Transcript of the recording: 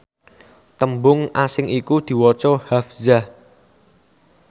tembung asing iku diwaca hafzah